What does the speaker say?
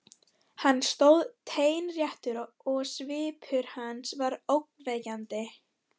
Hann stóð teinréttur og svipur hans var ógnvekjandi.